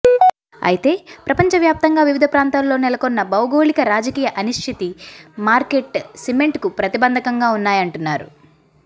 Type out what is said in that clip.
అయితే ప్రపంచ వ్యాప్తంగా వివిధ ప్రాంతాల్లో నెలకొన్న భౌగోళిక రాజకీయ అనిశ్చితి మార్కెట్ సెంటిమెంట్కు ప్రతిబంధకంగా ఉన్నాయంటున్నారు